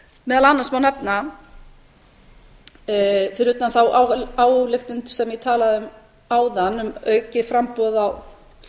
meðal annars má nefna fyrir utan þá ályktun sem ég talaði um áðan um aukið framboð á